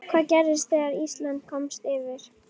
Hvað gerðist þegar Ísland komst yfir?